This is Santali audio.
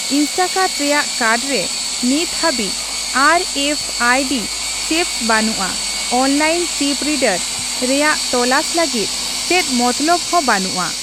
ᱤᱥᱴᱟᱠᱟᱨᱴ ᱨᱮᱭᱟᱜ ᱠᱟᱨᱰ ᱨᱮ ᱱᱤᱛ ᱦᱟᱹᱵᱤᱡ R F I D chips ᱵᱟᱹᱱᱩᱜᱼᱟ, ᱚᱱᱟᱞᱟᱹᱜᱤᱫ ᱪᱤᱯ ᱨᱤᱰᱚᱨ ᱨᱮᱭᱟᱜ ᱛᱚᱞᱟᱥ ᱞᱟᱹᱜᱤᱫ ᱪᱮᱫ ᱢᱚᱛᱞᱚᱵ ᱦᱚᱸ ᱵᱟᱹᱱᱩᱜᱼᱟ ᱾